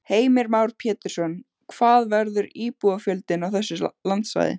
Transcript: Heimir Már Pétursson: Hvað verður íbúafjöldinn á þessu landsvæði?